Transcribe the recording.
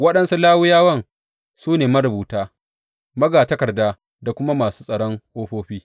Waɗansu Lawiyawan su ne marubuta, magatakarda da kuma masu tsaron ƙofofi.